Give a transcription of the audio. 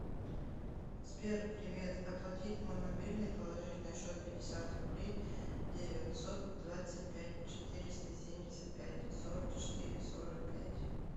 сбер привет оплатить мой мобильный положить на счет пятьдесят рублей девятьсот двадцать пять четыреста семьдесят пять сорок четыре сорок пять